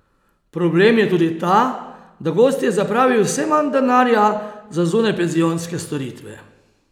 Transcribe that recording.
Problem je tudi ta, da gostje zapravijo vse manj denarja za zunajpenzionske storitve.